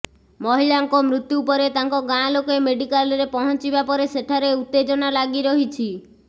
ମହିଳାଙ୍କ ମୃତ୍ୟୁ ପରେ ତାଙ୍କ ଗାଁ ଲୋକେ ମେଡିକାଲରେ ପହଞ୍ଚିିବା ପରେ ସେଠାରେ ଉତ୍ତେଜନା ଲାଗି ରହିଛି